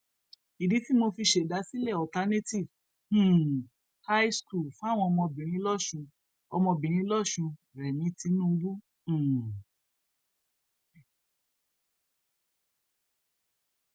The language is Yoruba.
ìdí tí mo fi ṣèdásílẹ alternative um high school fáwọn ọmọbìnrin lọsùn ọmọbìnrin lọsùn rémi tinubu um